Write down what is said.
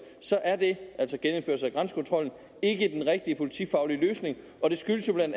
er det altså genindførelsen af grænsekontrollen ikke den rigtige politifaglige løsning og det skyldes jo bla